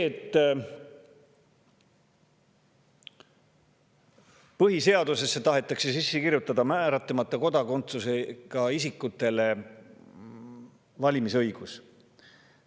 Põhiseadusesse tahetakse ka sisse kirjutada määratlemata kodakondsusega isikute valimisõigus.